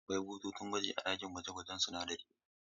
Akwai bututun gwaji a cikin ɗakin gwaje-gwajen sunadarai